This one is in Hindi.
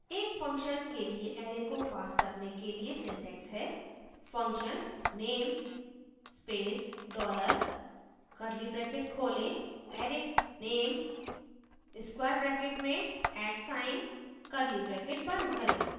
एक function के लिए array को pass करने के लिए syntax है function _ name space dollar curly brackets खोलें array _ name square brackets में @at sign curly brackets बंद करें